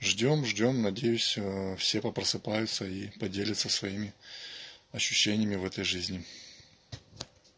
ждём ждём надеюсь все по просыпаются и поделятся своими ощущениями в этой жизни